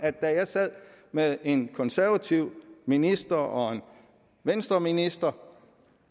da jeg sad med en konservativ minister og en venstreminister